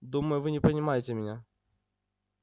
думаю вы меня понимаете меня